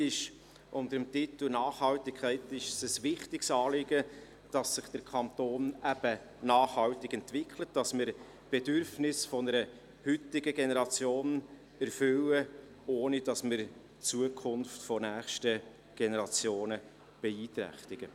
Der Regierung ist es unter dem Titel «Nachhaltigkeit» ein wichtiges Anliegen, dass sich der Kanton nachhaltig entwickelt und wir die Bedürfnisse der heutigen Generation erfüllen, ohne die Zukunft der nächsten Generationen zu beeinträchtigen.